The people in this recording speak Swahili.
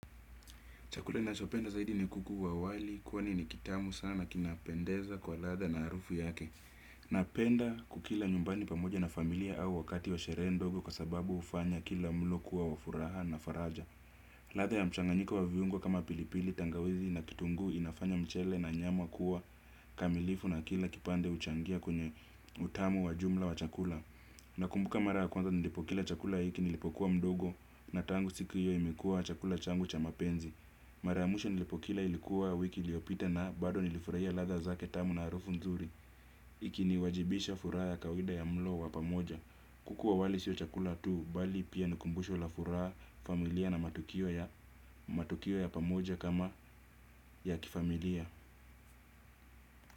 Chakula nachopenda zaidi ni kuku wa wali, kwani ni kitamu sana kinapendeza kwa ladha na harufu yake. Napenda kukila nyumbani pamoja na familia au wakati wa sherehe ndogo kwa sababu hufanya kila mlo kuwa wa furaha na faraja. Ladha ya mchanganyiko wa viungo kama pilipili tangawizi na kitunguu inafanya mchele na nyama kuwa kamilifu na kila kipande huchangia kwenye utamu wa jumla wa chakula. Nakumbuka mara kwanza nilipo kila chakula hiki nilipo kuwa mdogo na tangu siku hiyo imekua chakula changu cha mapenzi. Mara ya mwisho nilipokila ilikuwa wiki iliyopita na bado nilifurahia ladha zake tamu na harufu nzuri. Ikiniwajibisha furaha ya kawaida ya mlo wa pamoja. Kuku wa wali sio chakula tu, bali pia ni kumbusho la furaha familia na matukio ya pamoja kama ya kifamilia.